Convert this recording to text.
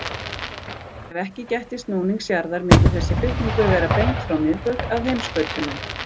Ef ekki gætti snúnings jarðar myndi þessi flutningur vera beint frá miðbaug að heimskautunum.